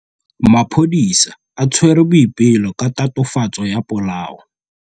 Maphodisa a tshwere Boipelo ka tatofatsô ya polaô.